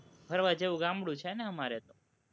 ફરવા જેવું ગામડું છે ને અમારે તો